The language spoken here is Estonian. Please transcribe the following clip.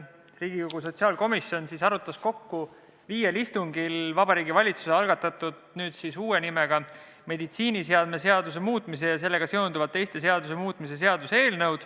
Riigikogu sotsiaalkomisjon arutas kokku viiel istungil Vabariigi Valitsuse algatatud ja nüüd siis uue nimega meditsiiniseadme seaduse muutmise ja sellega seonduvalt teiste seaduste muutmise seaduse eelnõu.